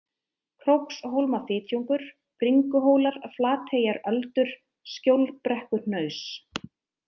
Krókshólmafitjungur, Bringuhólar, Flateyjaröldur, Skjólbrekkuhnaus